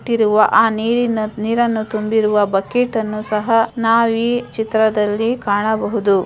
ಇಟ್ಟಿರುವ ಆ ನೀರಿನ ನೀರನ್ನು ತುಂಬಿರುವ ಬಕೆಟ್ ಅನ್ನು ಸಹ ನಾವು ಈ ಚಿತ್ರದಲ್ಲಿ ಕಾಣಬಹುದು.